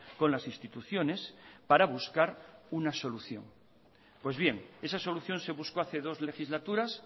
con las instituciones para buscar una solución pues bien esa solución se buscó hace dos legislaturas